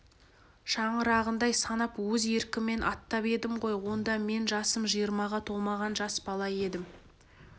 шаңырағындай санап өз еркіммен аттап едім ғой онда мен жасым жиырмаға толмаған жас бала едім